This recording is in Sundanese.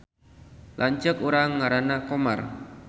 Lanceuk urang ngaranna Komar